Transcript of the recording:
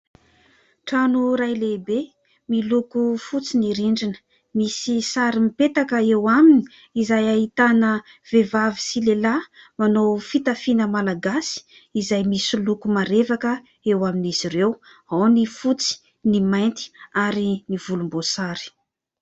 Trano iray lehibe miloko fotsy ny rindrina. Misy sary mipetaka eo aminy izay ahitana vehivavy sy lehilahy manao fitafiana malagasy izay misy loko marevaka eo amin'izy ireo ao : ny fotsy, ny mainty ary ny volomboasary.